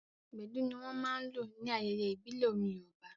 Gbedu ní wọ́n máa n lò ní ayẹyẹ ìbílẹ̀ orin yoòbá